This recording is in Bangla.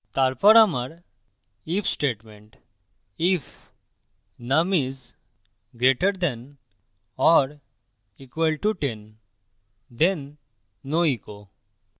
তারপর আমার if statementif num is greater than or equal to 10 then no echo যদি num 10 এর then বড় বা সমান হয় then echo হয় no